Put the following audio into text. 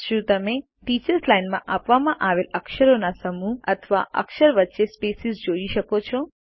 શું તમે teachers line માં આપવામાં આવેલ અક્ષરોના સમૂહ અથવા અક્ષર વચ્ચે સ્પેસીસ જોઈ શકો છો